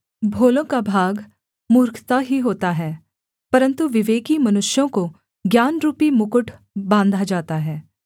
भोलों का भाग मूर्खता ही होता है परन्तु विवेकी मनुष्यों को ज्ञानरूपी मुकुट बाँधा जाता है